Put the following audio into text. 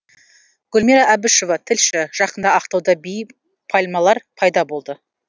гүлмира әбішева тілші жақында ақтауда биік пальмалар пайда болды